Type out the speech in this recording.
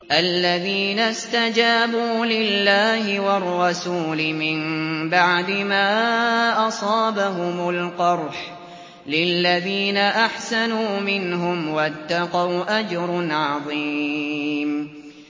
الَّذِينَ اسْتَجَابُوا لِلَّهِ وَالرَّسُولِ مِن بَعْدِ مَا أَصَابَهُمُ الْقَرْحُ ۚ لِلَّذِينَ أَحْسَنُوا مِنْهُمْ وَاتَّقَوْا أَجْرٌ عَظِيمٌ